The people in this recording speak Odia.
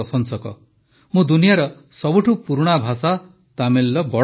ମୁଁ ଦୁନିଆର ସବୁଠୁ ପୁରୁଣା ଭାଷା ତାମିଲର ବଡ଼ ପ୍ରଶଂସକ